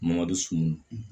sunun